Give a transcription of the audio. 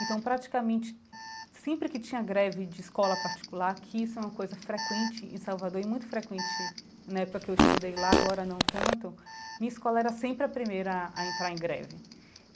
Então, praticamente, sempre que tinha greve de escola particular, que isso é uma coisa frequente em Salvador e muito frequente na época que eu estudei lá, agora não tanto, minha escola era sempre a primeira a a entrar em greve.